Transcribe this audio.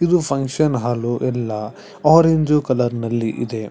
ಇದು function hall ಎಲ್ಲ orange colour ನಲ್ಲಿ ಇದೆ.